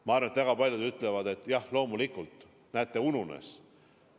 Ma arvan, et väga paljud ütlevad, et jah, loomulikult panen, aga näete, ununes.